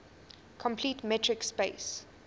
complete metric space